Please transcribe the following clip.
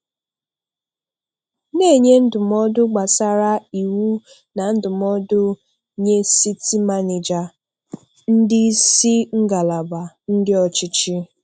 Na-enye ndụmọdụ gbasara iwu na ndụmọdụ nye City Manager, ndị isi ngalaba, ndị ọchịchị